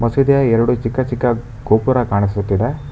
ಮಸೀದಿಯ ಎರಡು ಚಿಕ್ಕ ಚಿಕ್ಕ ಗೋಪುರ ಕಾಣಿಸುತ್ತಿದೆ.